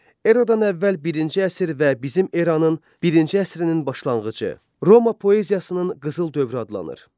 Eradan əvvəl birinci əsr və bizim eranın birinci əsrinin başlanğıcı Roma poeziyasının qızıl dövrü adlanır.